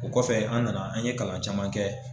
O kɔfɛ an nana an ye kalan caman kɛ